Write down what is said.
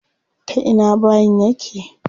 Ta ina bayin yake?